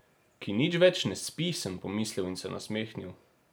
Ki nič več ne spi, sem pomislil in se nasmehnil.